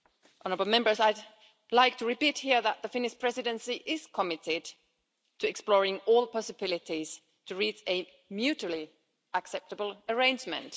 Honourable Members, I'd like to repeat here that the Finnish Presidency is committed to exploring all possibilities to reach a mutually acceptable arrangement.